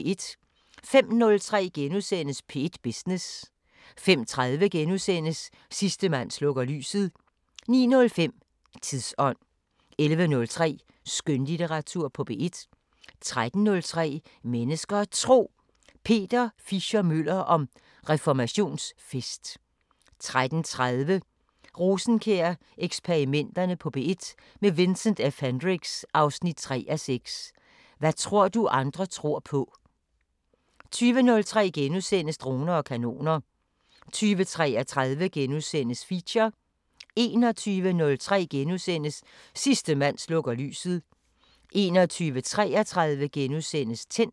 05:03: P1 Business * 05:30: Sidste mand slukker lyset * 09:05: Tidsånd 11:03: Skønlitteratur på P1 13:03: Mennesker og Tro: Peter Fischer-Møller om reformationsfest 13:30: Rosenkjær-eksperimenterne på P1 – med Vincent F Hendricks: 3:6 Hvad tror du andre tror på? 20:03: Droner og kanoner * 20:33: Feature * 21:03: Sidste mand slukker lyset * 21:33: Tændt *